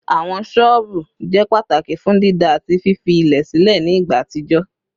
Awọn ṣọọbu jẹ pataki fun dida ati fifi ilẹ silẹ ni igba atijọ